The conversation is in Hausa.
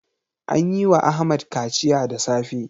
An yi wa Ahmad kaciya da safe.